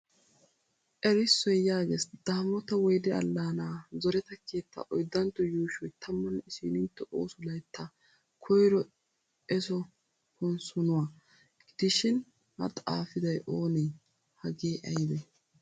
Erissoy yaages" daamoota woyide allana zoreta keettaa 4ntto yuushoy 11ntto ooso layttaa 1ro eesso konssonuwa" godishin a xaafiday oonee? Hagee ayibee?